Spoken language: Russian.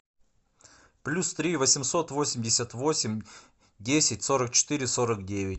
плюс три восемьсот восемьдесят восемь десять сорок четыре сорок девять